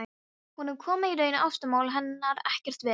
Honum koma í raun ástamál hennar ekkert við.